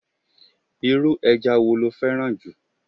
Irú eja wo lo féràn ju?